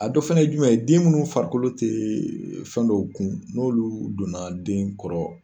A dɔ fana ye jumɛn ye, den munnu farikolo tɛ fɛn dɔw kun, n'olu donna den kɔrɔ